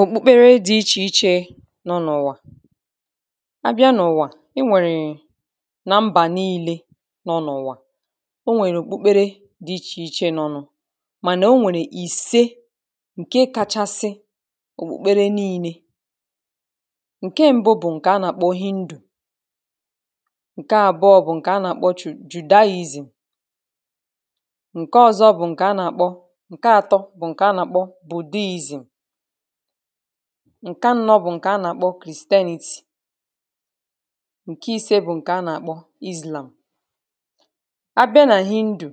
Òkpùkpere di̇ ichè ichè nọ n’ụ̀wà abịa n’ụ̀wà enwèrè na mbà niīle nọ n’ụ̀wà onwèrè òkpukpere dị ichè ichē nọ n’ụ̀ mànà onwèrè ìse ǹke kachasị òkpùkpere niīne ǹke mbụ bụ̀ ǹkè anà-àkpọ Hindu ǹke àbụ̀ọ bụ̀ ǹkè anà-àkpọ Ju Judaism ǹke ọzo bụ̀ ǹkè anà-àkpọ ǹke atọ bụ̀ ǹkè anà-àkpọ Budhism ǹke anọ bụ̀ ǹkè anà-àkpọ Christianity ǹke ise bụ̀ ǹkè anà-àkpọ Islam abịa nà Hindu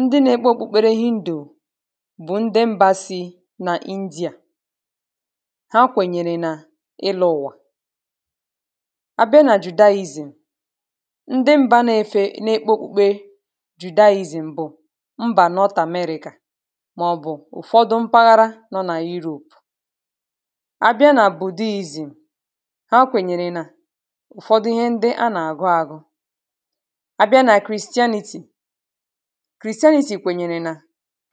ndị na-ekpe òkpùkpere Hindu bụ̀ ndị mbā si nà India ha kwènyèrè nà ịlọ̄ ụ̀wà abịa nà Judaism ndị mbā na-efe na-ekpe òkpukpe Judaism bụ̀ mbà North America màọ̀bụ̀ ụ̀fọdụ mpaghara nọ nà Europe abịa nà Budhism ha kwènyèrè nà ụ̀fọdụ ihe ndị anà-àgụ agụ abịa nà Christianity Christainity kwènyèrè nà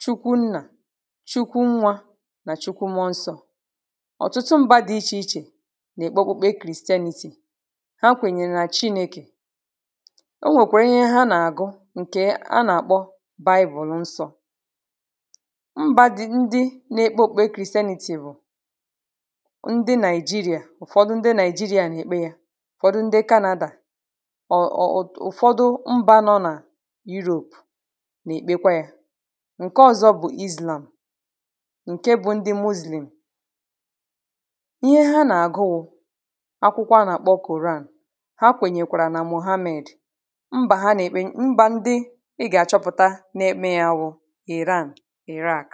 Chukwu nnà Chukwu nwā nà Chukwu mmụọ nsọ̄ ọ̀tụtụ mbā dị ichè ichè nà-èkpe okpukpe Christianity ha kwènyèrè nà Chinẽkè o nwèkwèrè ihe ha nà-àgụ ǹkè ha nà-àkpọ Baibùlù nsọ̄ mbā dị ndị na-ekpe òkpukpe Christianity bụ̀ ndị Nigeria ụ̀fọdụ ndị Nigeria nà-èkpe ya ụ̀fọdụ ndị Canada ọ̀ ọ̀ ọ̀ ụ̀fọdụ mbā nọ nà Europe nà-èkpekwa yā ǹke ọ̀zọ bụ̀ Islam ǹke bụ ndị Moslem ihe ha nà-àgụ wụ̄ akwụkwọ anà-àkpọ Koran ha kwènyèkwàrà nà Mohammed mbà ha nà-èkpe mbà ndị ị gà-àchọpụ̀ta na-ekpe ya wụ̀ Iran, Iraq